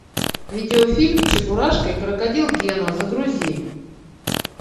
видеофильм чебурашка и крокодил гена загрузи